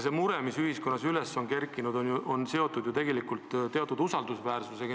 Mure, mis ühiskonnas üles on kerkinud, on tegelikult seotud valitsuse usaldusväärsusega.